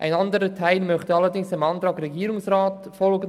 Ein anderer Teil möchte allerdings dem Antrag Regierungsrat folgen.